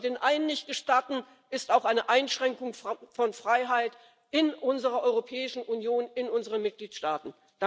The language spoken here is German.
Was wir den einen nicht gestatten, ist auch eine Einschränkung von Freiheit in unserer Europäischen Union, in unseren Mitgliedstaaten.